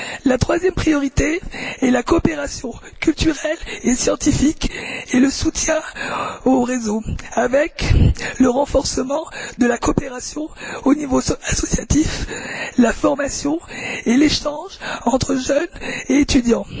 La troisième priorité est la coopération culturelle et scientifique, et le soutien aux réseaux, avec le renforcement de la coopération au niveau associatif, la formation et l'échange entre jeunes et étudiants.